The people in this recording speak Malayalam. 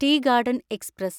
tea garden express